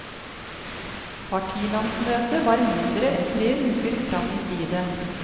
Partilandsmøtet var mindre enn tre uker fram i tiden.